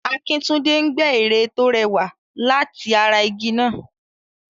Akintunde ń gbẹ ère tó rẹwà láti ara igi náà.